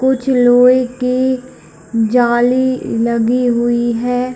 कुछ लोहे की जाली लगी हुई है।